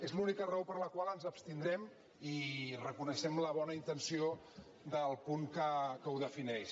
és l’única raó per la qual ens abstindrem i reconeixem la bona intenció del punt que ho defineix